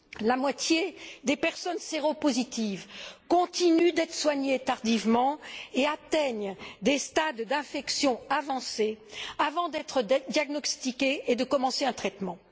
La moitié des personnes séropositives continuent d'être soignées tardivement et atteignent des stades d'infection avancés avant d'être diagnostiquées et de commencer un traitement.